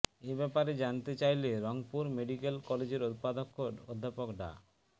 এ ব্যাপারে জানতে চাইলে রংপুর মেডিক্যাল কলেজের উপাধ্যক্ষ অধ্যাপক ডা